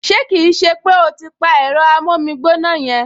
Ṣé kì í ṣe pé o ti pa ẹ̀rọ amómígbóná yẹn!